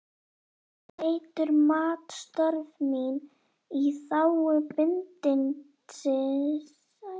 Teitur mat störf mín í þágu bindindis- og menningarmála mikils.